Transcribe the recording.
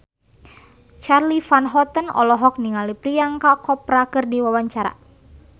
Charly Van Houten olohok ningali Priyanka Chopra keur diwawancara